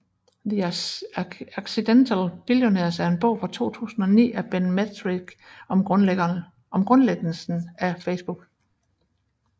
The Accidental Billionaires er en bog fra 2009 af Ben Mezrich om grundlæggelsen af Facebook